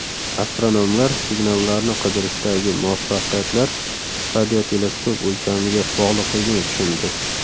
Astronomlar signallarni qidirishdagi muvaffaqiyatlar radioteleskop o‘lchamiga bog‘liqligini tushundi.